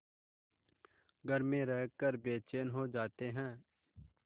घर में रहकर बेचैन हो जाते हैं